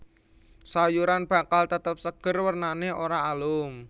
Sayuran bakal tetep seger wernané ora alum